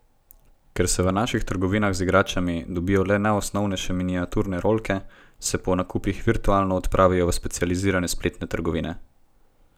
Ker se v naših trgovinah z igračami dobijo le najosnovnejše miniaturne rolke, se po nakupih virtualno odpravijo v specializirane spletne trgovine.